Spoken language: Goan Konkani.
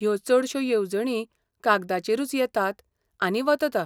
ह्यो चडश्यो येवजणी कागदाचेरूच येतात आनी वतता.